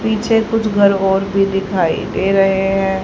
पीछे कुछ घर और भी दिखाई दे रहे हैं।